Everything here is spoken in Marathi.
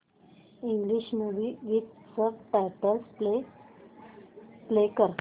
English movie with subtitles play कर